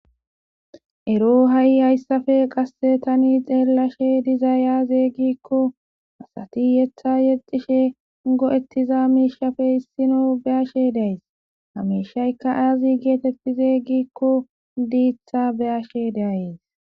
ero ha7i hayssafe qasse tani xeelashe diza yaazey gikko asati yetha yexishe go7ettiza miishafe hissino be ashe days hamishayka aazi geetetti zee gikko diitha be ashe dayes